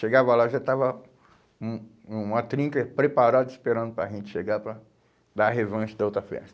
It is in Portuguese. Chegava lá, já estava um uma trinca preparada, esperando para a gente chegar para dar a revanche da outra festa.